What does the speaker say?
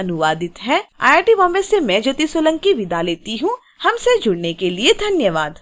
यह स्क्रिप्ट विकास द्वारा अनुवादित है आई आई टी बॉम्बे से मैं ज्योति सोलंकी आपसे विदा लेती हूँ हमसे जुड़ने के लिए धन्यवाद